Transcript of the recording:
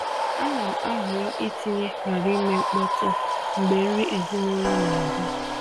A na m ahọrọ itinye “ghara ime mkpọtụ” mgbe nri ezinụlọ na-aga.